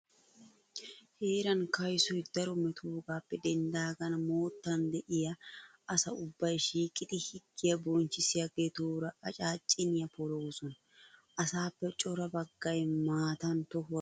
Heeran kaysoy daro metoogaappe denddaagan moottan de'iya asa ubbay shiiqidi higgiya bonchchissiyageetuura acaacciniya poloosona. Asaappe cora baggay maatan tohuwa birshshidi uttiis.